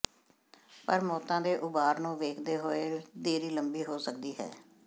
ਪਰ ਮੌਤਾਂ ਦੇ ਉਭਾਰ ਨੂੰ ਵੇਖਦੇ ਹੋਏ ਦੇਰੀ ਲੰਬੀ ਹੋ ਸਕਦੀ ਹੈ